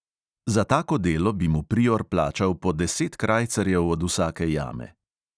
Za tako delo bi mu prior plačal po deset krajcarjev od vsake jame.